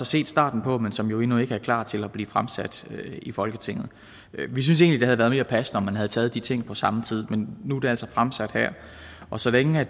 set starten på men som jo endnu ikke er klar til at blive fremsat i folketinget vi synes egentlig det havde været mere passende om man havde taget de ting på samme tid men nu er det altså fremsat her og så længe